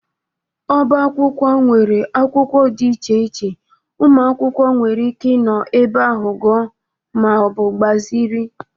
Ọba akwụkwọ nwere akwụkwọ dị iche iche ụmụ akwụkwọ nwere ike ịnọ ebe ahụ gụọ ma ọ bụ gbazịrị.